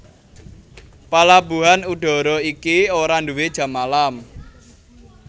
Palabuhan udara iki ora nduwé jam malam